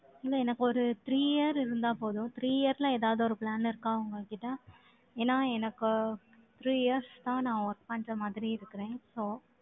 இல்லை, எனக்கு ஒரு three year இருந்தா போதும், three year ல ஏதாவது ஒரு plan இருக்கா உங்ககிட்ட? ஏன்னா, எனக்கு three years தான், நான் work பண்ற மாதிரி இருக்கிறேன். So